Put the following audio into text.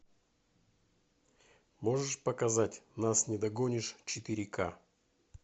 можешь показать нас не догонишь четыре ка